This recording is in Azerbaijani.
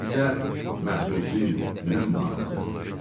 Nə isə məxsusi, mühüm hadisədir.